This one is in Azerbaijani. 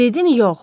Dedim yox.